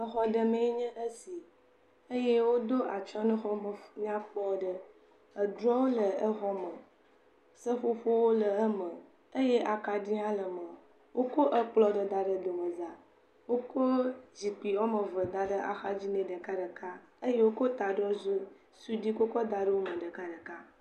Exɔme ɖe mee nyen esi eye woɖo atysɔ ne exɔ me nyakpɔ aɖe, edrɔ le eme, seƒoƒowo le eme, eye akaɖi hã le eme, wokɔ ekplɔ aɖe da ɖe me wokɔ zikpui woame eve da ɖe axadzi nɛ ɖekaɖeka, eye akaɖi hã da ɖe eme, wokɔ ekplɔ ɖe da ɖe domeza,…